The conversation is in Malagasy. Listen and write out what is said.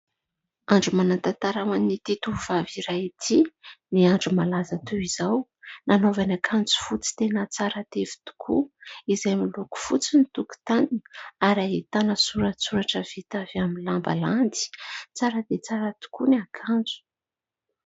Andro manan-tantara ho an'ity tovovavy iray ity ny andro malaza toy izao. Nanaovany akanjo fotsy tena tsara tefy tokoa izay miloko fotsy ny tokontaniny ary ahitana soratsoratra vita avy amin'ny lamba landy. Tsara dia tsara tokoa ny akanjo.